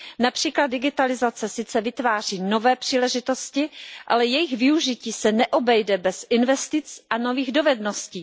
Například digitalizace sice vytváří nové příležitosti, ale jejich využití se neobejde bez investic a nových dovedností.